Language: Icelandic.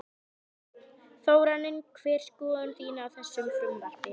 Þorbjörn: Þórarinn hver er skoðun þín á þessu frumvarpi?